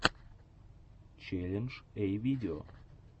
челлендж эй видео